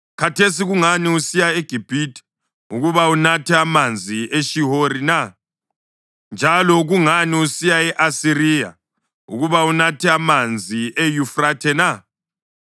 Khathesi kungani usiya eGibhithe ukuba unathe amanzi eShihori na? Njalo kungani usiya e-Asiriya ukuba unathe amanzi eYufrathe na?